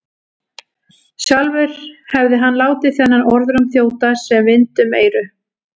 Sjálfur hefði hann látið þennan orðróm þjóta sem vind um eyru.